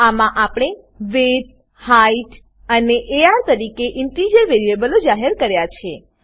આમાં આપણે width height અને અર તરીકે ઇન્ટીજર વેરીએબલો જાહેર કર્યા છે